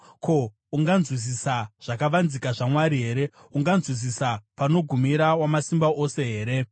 “Ko, unganzwisisa zvakavanzika zvaMwari here? Unganzwisisa panogumira Wamasimba Ose here?